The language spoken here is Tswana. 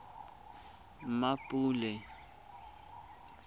mmapule